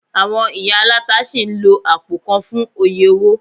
Àwọn ìyá aláta sì ń lo àpò kan fún oye owó